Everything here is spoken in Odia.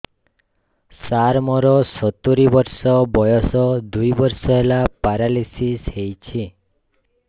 ସାର ମୋର ସତୂରୀ ବର୍ଷ ବୟସ ଦୁଇ ବର୍ଷ ହେଲା ପେରାଲିଶିଶ ହେଇଚି